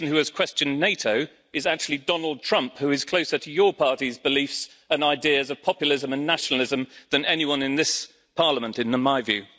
The person who has questioned NATO is actually Donald Trump, who is closer to your party's beliefs and ideas of populism and nationalism than anyone in this Parliament, in my view.